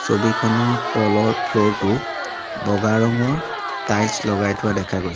ছবিখনৰ তলৰ ফ্ল'ৰ টো বগা ৰঙৰ টাইলছ লগাই থোৱা দেখা গৈছে।